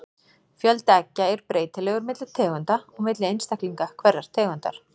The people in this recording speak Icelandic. Fjöldi eggja er breytilegur milli tegunda og milli einstaklinga hverrar tegundar.